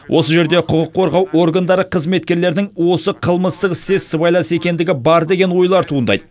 осы жерде құқық қорғау органдары қызметкерлерінің осы қылмыстық істе сыбайлас екендігі бар деген ойлар туындайды